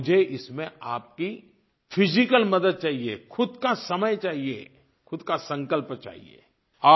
और मुझे इसमें आपकी फिजिकल मदद चाहिए ख़ुद का समय चाहिए ख़ुद का संकल्प चाहिए